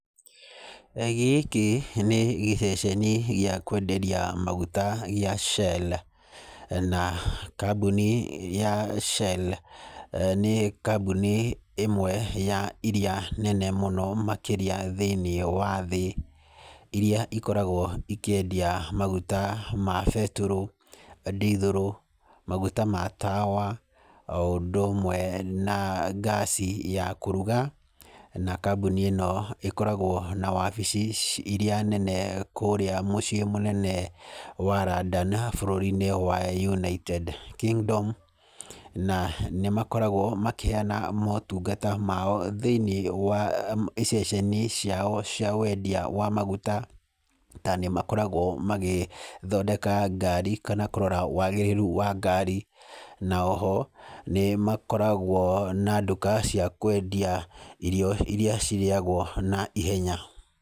Gĩkĩ nĩ gĩceceni gĩa kwenderia maguta gĩa Shell. Na kambuni ya Shell, nĩ kambuni ĩmwe ya irĩa nene mũno makĩria thĩiniĩ wa thĩ, irĩa ikoragwo ikĩendia magũta ma betũrũ, ndithũrũ, magũta ma tawa, o ũndũ ũmwe na ngaci ya kũrũga. Na kambũni ĩno ĩkoragwo na wabici irĩa nene kũũria mũciĩ mũnene wa London bũrũri-inĩ wa United Kingdom. Na nĩ makoragwo makĩheana motũngata mao thĩiniĩ wa iceceni ciao cia wendia wa magũta. Na nĩ makoragwo magĩthodeka ngari kana kũrora wagĩrĩrũ wa ngari na o ho, nĩ makoragwo na ndũka cia kwendia irio irĩa cirĩagwo na ihenya.